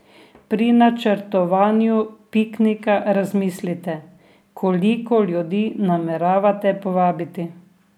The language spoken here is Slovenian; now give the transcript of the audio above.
Pri načrtovanju piknika razmislite, koliko ljudi nameravate povabiti.